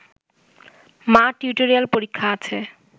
মা টিউটোরিয়াল পরীক্ষা আছে